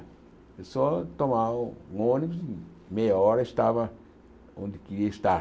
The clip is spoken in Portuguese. É só tomar um ônibus e meia hora estava onde queria estar.